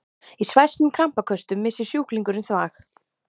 Í svæsnum krampaköstum missir sjúklingurinn þvag.